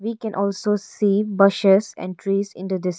We can also see bushes and trees in the dis--